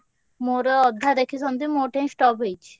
ମୋର ଅଧା ଦେଖିଛନ୍ତି ମୋ ଠେଇ stop ହେଇଚି।